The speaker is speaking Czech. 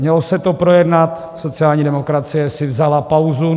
Mělo se to projednat, sociální demokracie si vzala pauzu.